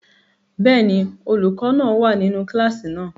Bẹ́ẹ̀ni, olukọ náa wa ninu kilasi náà.